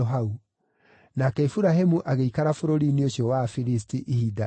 Nake Iburahĩmu agĩikara bũrũri-inĩ ũcio wa Afilisti ihinda iraaya ma.